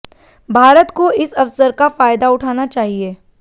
भारत को इस अवसर का फायदा उठाना चाहिए